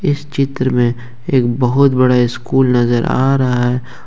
इस चित्र में एक बहुत बड़ा स्कूल नजर आ रहा है।